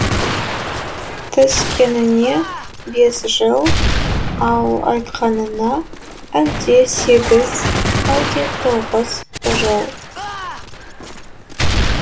түскеніне бес жыл ал айтқанына әлде сегіз әлде тоғыз жыл